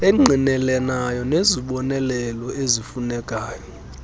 engqinelanayo nezibonelelo ezifunekayo